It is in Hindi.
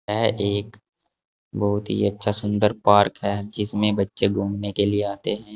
यह एक बहुत ही अच्छा सुंदर पार्क है जिसमें बच्चे घूमने के लिए आते हैं।